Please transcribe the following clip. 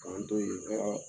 K'an to yen